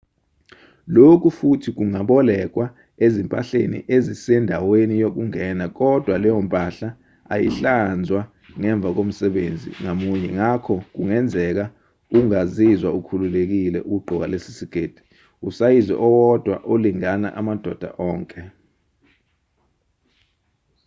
lokhu futhi kungabolekwa ezimpahleni ezisendaweni yokungena kodwa leyo mpahla ayihlanzwa ngemva komsebenzisi ngamunye ngakho kungenzeka ungazizwa ukhululekile ukugqoka lesi siketi usayizi owodwa olingana amadoda onke